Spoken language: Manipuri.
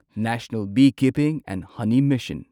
national beekeeping and honey mission